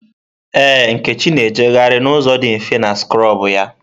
Ee, Nkechi na-ejegharị n'ụzọ dị mfe na skrọbụ ya.